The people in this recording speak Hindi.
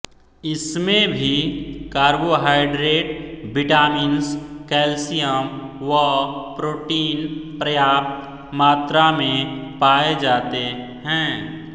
इसमें भी कार्बोहाइड्रेट विटामिन्स केल्शियम व प्रोटीन पर्याप्त मात्रा में पाए जाते हैं